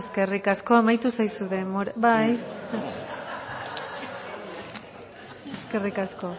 eskerrik asko amaitu zaizu denbora bai eskerrik asko